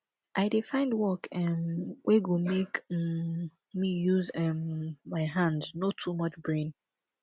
i dey find work um wey go make um me use um my hand no too much brain